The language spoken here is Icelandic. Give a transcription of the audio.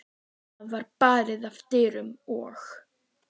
Það var barið að dyrum og